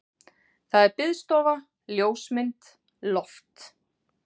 Það er biðstofa, ljósmynd, loft.